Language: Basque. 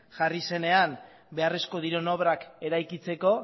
jarri zenean beharrezko diren obrak eraikitzeko